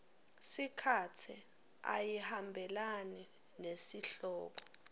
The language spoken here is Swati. sikhatsi ayihambelani nesihloko